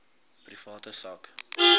private sak